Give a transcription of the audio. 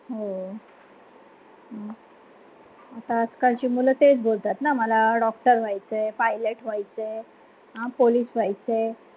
हो मग आताआजकालची मुलं तेच बोलतात ना मला doctor व्हायचे pilot व्हायचे आहे अं police व्हयाच आहे